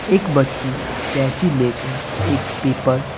एक बच्ची कैची लेकर एक पेपर --